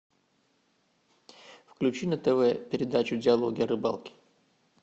включи на тв передачу диалоги о рыбалке